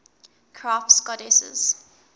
crafts goddesses